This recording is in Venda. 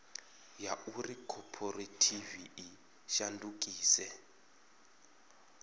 ya uri khophorethivi i shandukise